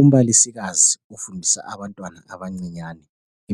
Umbalisikazi ufundisa abantwana abancinyane,